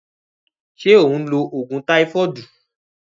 Se o n lo ogun taifodu?